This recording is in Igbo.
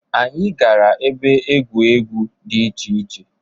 Anyị gara ebe egwu egwu dị iche iche.